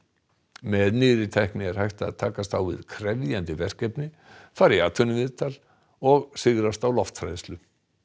með nýrri tækni er hægt að takast á við krefjandi verkefni fara í atvinnuviðtal og sigrast á lofthræðslu